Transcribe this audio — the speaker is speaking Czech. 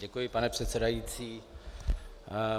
Děkuji, pane předsedající.